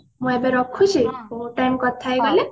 ମୁଁ ଏବେ ରଖୁଛି ବହୁତ time କଥା ହେଇଗଲେ